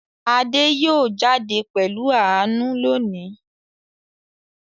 Adé yóò jáde pẹ̀lú Àánú lónìí